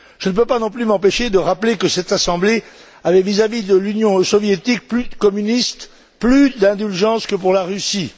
Je ne peux pas non plus m'empêcher de rappeler que cette assemblée avait, vis à vis de l'Union soviétique communiste, plus d'indulgence que pour la Russie.